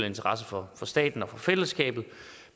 interesse for staten og for fællesskabet